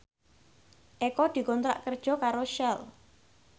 Eko dikontrak kerja karo Shell